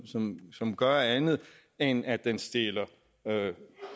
som som gør andet end at den stiller